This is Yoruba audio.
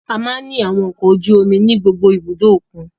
A máa ń ní àwọn ọkọ ojú omi ní gbogbo ibùdó òkun.